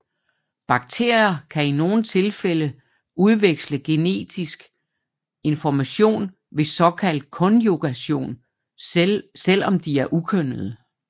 Bakterier kan i nogle tilfælde udveksle genetisk information ved såkaldt konjugation selvom de er ukønnede